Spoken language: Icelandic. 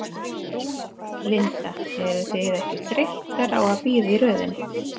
Linda: Eruð þið ekkert þreyttar á að bíða í röðinni?